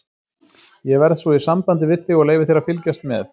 Ég verð svo í sambandi við þig og leyfi þér að fylgjast með.